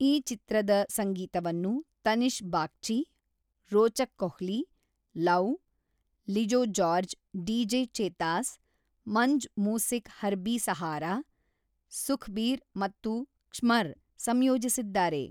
ಈ ಚಿತ್ರದ ಸಂಗೀತವನ್ನು ತನಿಷ್ಕ್ ಬಾಗ್ಚಿ, ರೋಚಕ್ ಕೊಹ್ಲಿ, , ಲೌವ್, ಲಿಜೋ ಜಾರ್ಜ್-ಡಿಜೆ ಚೇತಾಸ್, ಮಂಜ್ ಮೂಸಿಕ್-ಹರ್ಬಿ ಸಹಾರಾ, ಸುಖ್ಬೀರ್ ಮತ್ತು ಕ್ಷ್ಮರ್ ಸಂಯೋಜಿಸಿದ್ದಾರೆ.